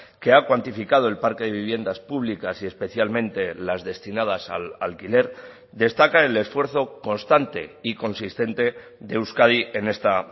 que ha cuantificado el parque de viviendas públicas y especialmente las destinadas al alquiler destaca el esfuerzo constante y consistente de euskadi en esta